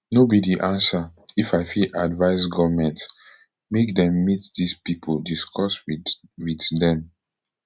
no be di answer if i fit advise goment make dem meet dis pipo discuss wit wit dem